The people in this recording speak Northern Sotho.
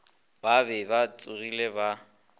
ba be ba tsogile ba